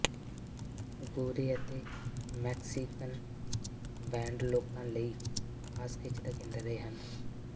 ਗੋਰੇ ਅਤੇ Mexican band ਲੋਕਾਂ ਲਈ ਖਾਸ ਖਿੱਚ ਦਾ ਕੇਂਦਰ ਰਹੇ